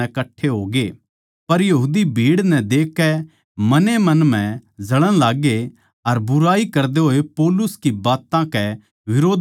पर यहूदी भीड़ नै देखकै मन ए मन म्ह जळण लाग्गे अर बुराई करदे होए पौलुस की बात्तां कै बिरोध म्ह बोल्लण लाग्गे